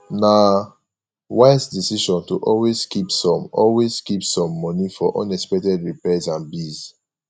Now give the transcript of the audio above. na wise decision to always keep some always keep some money for unexpected repairs and bills